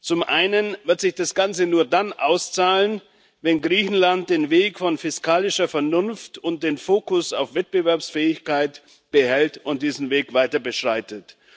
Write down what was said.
Zum einen wird sich das Ganze nur dann auszahlen, wenn Griechenland den Weg von fiskalischer Vernunft und den Fokus auf Wettbewerbsfähigkeit behält und diesen Weg weiter beschreitet.